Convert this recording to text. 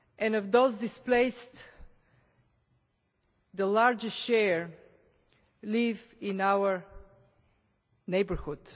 Of those displaced, the largest share live in our neighbourhood.